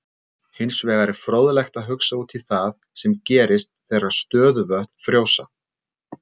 Hins vegar er fróðlegt að hugsa út í það sem gerist þegar stöðuvötn frjósa.